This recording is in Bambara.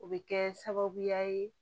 O bɛ kɛ sababuya ye